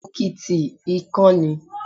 Òkìtì ìkan ni.